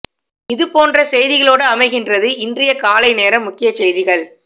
இது போன்ற செய்திகளோடு அமைகின்றது இன்றைய காலை நேர முக்கிய செய்திகள்